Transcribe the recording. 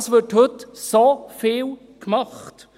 Es wird heute so viel gemacht.